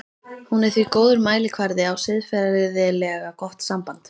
Hún er því góður mælikvarði á siðferðilega gott samband.